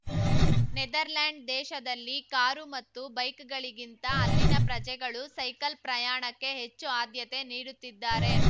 Netherland ದೇಶದಲ್ಲಿ car ಮತ್ತು ಬೈಕ್‌ಗಳಿಗಿಂತ ಅಲ್ಲಿನ ಪ್ರಜೆಗಳು ಸೈಕಲ್ ಪ್ರಯಾಣಕ್ಕೆ ಹೆಚ್ಚು ಆದ್ಯತೆ ನೀಡುತ್ತಿದ್ದಾರೆ